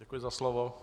Děkuji za slovo.